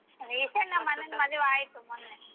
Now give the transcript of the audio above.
recent ನಮ್ಮ್ ಅಣ್ಣನ್ ಮದ್ವೆ ಆಯ್ತು ಮನ್ನೆ.